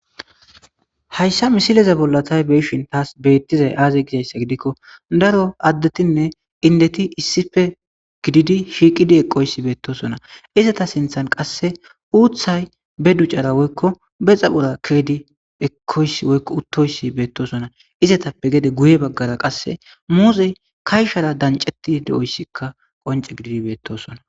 hayssa misileza bollatay beeshin taas beettizay aaze gizayssa gidikko daro addetinne indeti issife gididi shiiqidi eqoysi beettosona isata sinthan qasse uuththay be ducara woykko bexa pora keedi ekoys oyko uttoysi beettosona izatappe gede guye baggara qasse muuzey kayshara danceti de7oyssikka qonce gididi beettosona